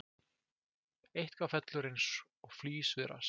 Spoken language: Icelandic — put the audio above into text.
Eitthvað fellur eins og flís við rass